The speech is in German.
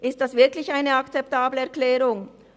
Ist das wirklich eine akzeptable Erklärung?